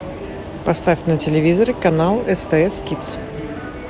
поставь на телевизоре канал стс кидс